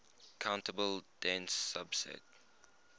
countable dense subset